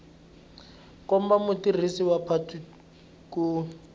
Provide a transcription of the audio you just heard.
komba mutirhisi wa patu ku